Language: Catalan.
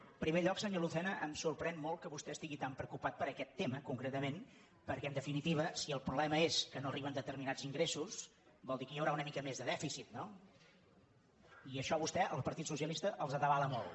en primer lloc senyor lucena em sorprèn molt que vostè estigui tan preocupat per aquest tema concretament perquè en definitiva si el problema és que no arriben determinats ingressos vol dir que hi haurà una mica més de dèficit no i això a vostè al partit socialista els atabala molt